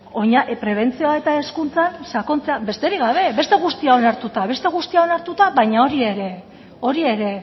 prebentzioa eta hezkuntzan sakontzea besterik gabe beste guztia onartuta beste guztia onartuta baina hori ere hori ere